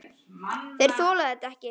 Þeir þola þetta ekki.